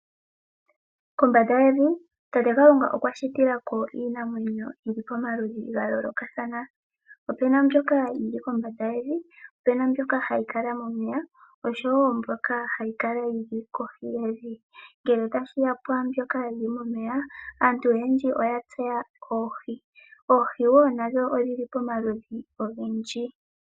Kombanda yevi, Tate Kalunga okwa shitila ko iinamwenyo yomaludhi gayooloka. Opu na mbyoka yili kombanda yevi, po opu na mbyoka hayi kala momeya oshowo mbyoka hayi kala yi li kohi yevi. Ngele tashiya kwaambyoka yili momeya, aantu oyendji oya tseya oohi. Oohi wo nadho odhi li pomaludhi ogendji.